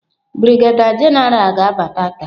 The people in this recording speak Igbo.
Brigadier general ga-abata taa.